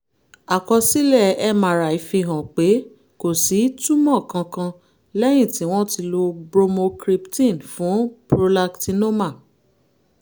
àkọsílẹ̀ mri fihàn pé kò sí túmọ̀ kankan lẹ́yìn tí wọ́n ti lo bromocriptine fún prolactinoma